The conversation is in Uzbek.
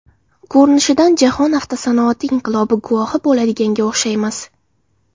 Ko‘rinishidan jahon avtosanoati inqilobi guvohi bo‘ladiganga o‘xshaymiz.